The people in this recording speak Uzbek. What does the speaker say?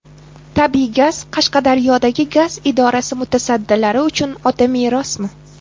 Tabiiy gaz Qashqadaryodagi gaz idorasi mutasaddilari uchun otamerosmi?.